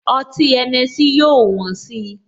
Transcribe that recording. Ọtí Henessy yóò wón si